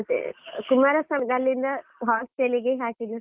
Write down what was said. ಮತ್ತೆ, ಕುಮಾರಸ್ವಾಮಿ ಅಲ್ಲಿಂದ hostel ಗೆ ಹಾಕಿದ್ದು.